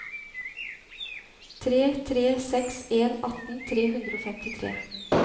tre tre seks en atten tre hundre og femtitre